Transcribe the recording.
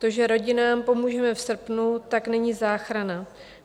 To, že rodinám pomůžeme v srpnu, tak není záchrana.